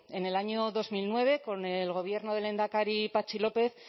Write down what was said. en el año dos mil nueve con el gobierno del lehendakari patxi lópez